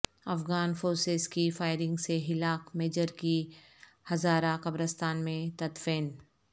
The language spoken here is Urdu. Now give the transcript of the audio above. افغان فورسز کی فائرنگ سے ہلاک میجر کی ہزارہ قبرستان میں تدفین